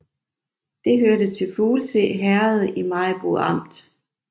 Det hørte til Fuglse Herred i Maribo Amt